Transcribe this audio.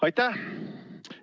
Aitäh!